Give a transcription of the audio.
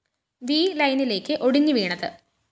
V ലൈനിലേക്ക് ഒടിഞ്ഞു വീണത്